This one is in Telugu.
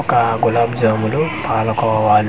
ఒక గులాబ్ జాములు పాల కోవలు .